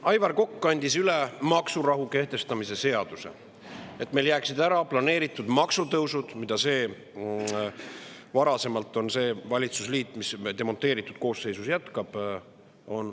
Aivar Kokk andis üle maksurahu kehtestamise seaduse, et meil jääksid ära planeeritud maksutõusud, mille varasemalt on kehtestanud see valitsusliit, mis demonteeritud koosseisus jätkab.